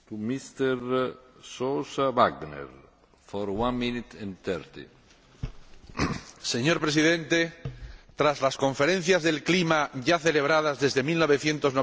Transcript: Señor Presidente, tras las Conferencias sobre el Cambio Climático, ya celebradas desde 1995, se puede afirmar que, tal como están concebidas, se hallan abocadas al fracaso.